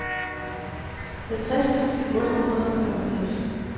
halvtreds tusind otte hundrede og femogfirs